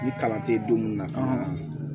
Ni kalan tɛ don munna